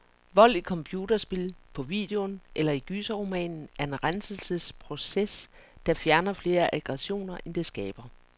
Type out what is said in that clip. Vold i computerspil, på videoen eller i gyserromanen er en renselsesproces, der fjerner flere aggressioner, end det skaber.